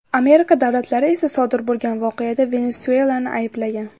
Amerika davlatlari esa sodir bo‘lgan voqeada Venesuelani ayblagan.